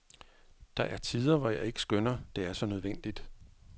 Der er tider, hvor jeg ikke skønner, det er så nødvendigt.